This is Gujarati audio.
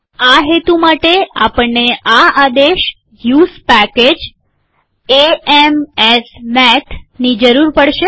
આ હેતુ માટેઆપણને આ આદેશ use package A M S math ની જરૂર પડશે